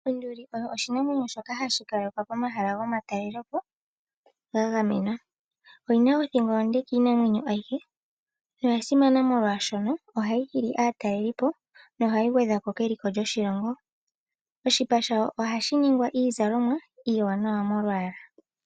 Onduli oyo oshinamwenyo shoka hashi kalekwa pomahala gomatalelopo ga gamenwa. Oyi na othingo onde kiinamwenyo ayihe noya simana molwashoka ohayi hili aatalelipo nohayi gwedha ko keliko lyoshilongo. Oshipa shayo ohashi ningwa iizalomwa iiwanawa molwaala.